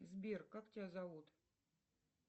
сбер как тебя зовут